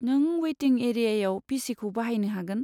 नों वेटिं एरियायाव पि.सि.खौ बाहायनो हागोन।